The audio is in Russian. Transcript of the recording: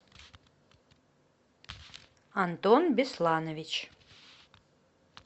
антон бесланович